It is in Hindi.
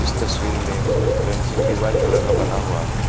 तस्वीर में फेंसिंग भी व्हाइट कलर का बना हुआ है।